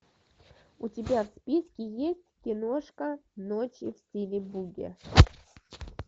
у тебя в списке есть киношка ночи в стиле буги